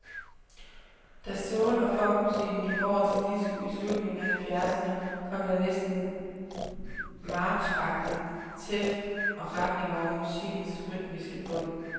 Da soul og funkmusikken gik over til disco i slutningen af halvfjerdserne, kom der en næsten marchagtig tæft og retning over musikkens rytmiske bund.